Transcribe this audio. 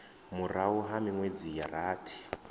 murahu ha minwedzi ya rathi